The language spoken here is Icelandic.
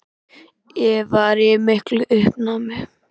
Ég var í miklu uppnámi.